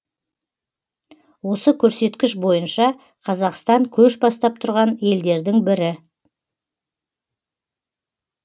осы көрсеткіш бойынша қазақстан көш бастап тұрған елдердің бірі